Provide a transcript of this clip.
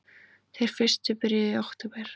Þeir fyrstu byrjuðu í október